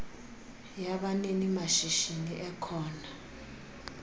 yabanini mashishini ekho